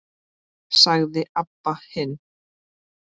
sagði Abba hin.